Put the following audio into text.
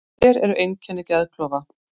Hver eru einkenni geðklofa?